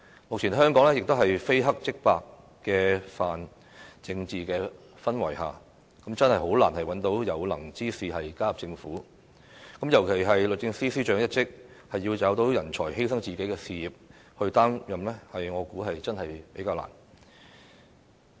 目前香港這個非黑即白的泛政治化氛圍，真的很難找到有能之士加入政府，尤其是律政司司長一職，要找到人才犧牲自己事業去擔任，我相信真的比較難。